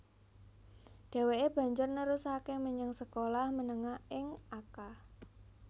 Dheweke banjur nerusake menyang sekolah menengah ing Akka